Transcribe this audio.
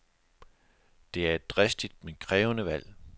Det er et dristigt, men krævende valg.